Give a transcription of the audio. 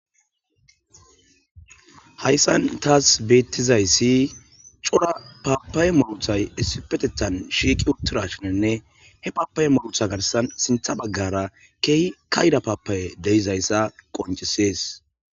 hayssan taas beettizayssi cora paapaye molothay essipetethan shiiqi uttira shinanne he paapaye molotha garsan sintha baggara keehi kayda paapaye deizayssa qoncisees